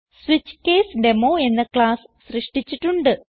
switch case demo എന്ന class സൃഷ്ടിച്ചിട്ടുണ്ട്